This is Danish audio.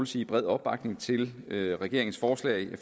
sige bred opbakning til regeringens forslag